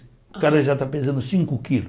O cara já está pesando cinco quilos.